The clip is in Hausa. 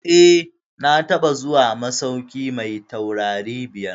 Eh, na taɓa zuwa masauki mai taurari biyar.